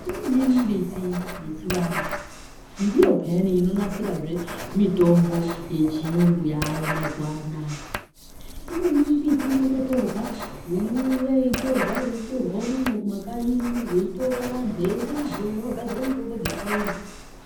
Imweni mimbiti yechivantu ndiyo piyani inonasira zvemitombo yechirungu yayo mazuva ano imweni mimbiti inouya yeitorwa yeitorwa unono kumakanyi veitora veienda nayo kuti vazogadzira mitombo yechivantu.